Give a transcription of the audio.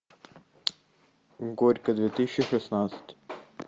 горько две тысячи шестнадцать